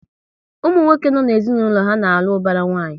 Ụmụ nwoke no n'ezinaulo ha na-alụ ubara nwanyi